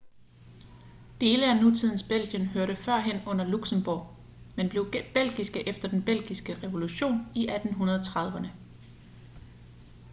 dele af nutidens belgien hørte førhen under luxembourg men blev belgiske efter den belgiske revolution i 1830'erne